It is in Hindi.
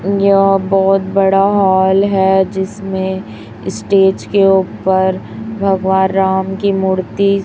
यह बहोत बड़ा हॉल है जिसमें स्टेज के ऊपर भगवा राम की मूर्ति--